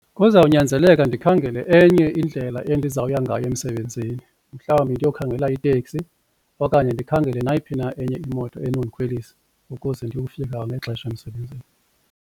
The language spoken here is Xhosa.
Kuzawunyanzeleka ndikhangele enye indlela endizawuya ngayo emsebenzini mhlawumbi ndiyokhangela iteksi okanye ndikhangele nayiphi na enye imoto enondikhwelisa ukuze ndiyofika kwangexesha emsebenzini.